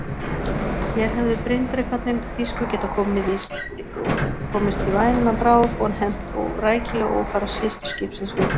Hér hefðu bryndrekarnir þýsku getað komist í væna bráð og hefnt rækilega ófara systurskipsins við